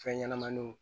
Fɛn ɲɛnɛmaniw